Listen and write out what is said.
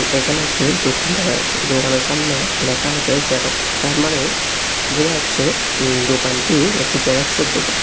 এখানে একটি দোকান দেখা যাচ্ছে দোকানের সামনে লেখা আছে জেরক্স তার মানে বোঝা যাচ্ছে দোকানটি একটি জেরক্সের দোকান।